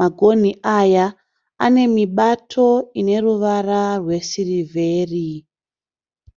Magonhi aya anemibato ineruvara rwesirivheri.